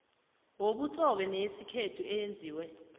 yobutsobe neyesithembu eyenziwe